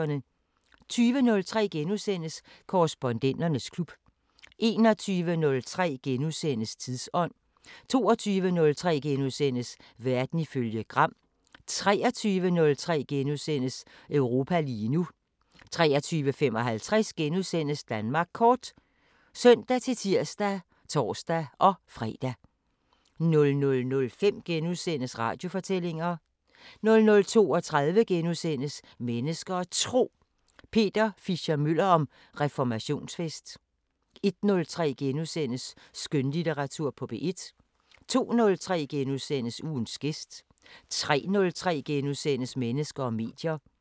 20:03: Korrespondenternes klub * 21:03: Tidsånd * 22:03: Verden ifølge Gram * 23:03: Europa lige nu * 23:55: Danmark Kort *(søn-tir og tor-fre) 00:05: Radiofortællinger * 00:32: Mennesker og Tro: Peter Fischer-Møller om reformationsfest * 01:03: Skønlitteratur på P1 * 02:03: Ugens gæst * 03:03: Mennesker og medier *